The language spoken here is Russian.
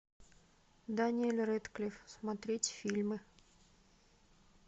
дэниел рэдклифф смотреть фильмы